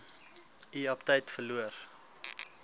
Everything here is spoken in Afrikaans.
u aptyt verloor